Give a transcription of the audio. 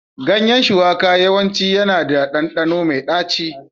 Ganyen shuwaka yawanci yana da ɗanɗano mai ɗaci.